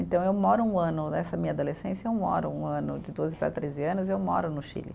Então, eu moro um ano, nessa minha adolescência, eu moro um ano de doze para treze anos, eu moro no Chile.